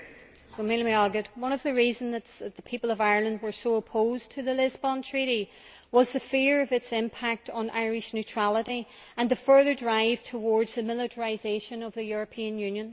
Mr President, one of the reasons that the people of Ireland were so opposed to the Lisbon Treaty was the fear of its impact on Irish neutrality and the further drive towards the militarisation of the European Union.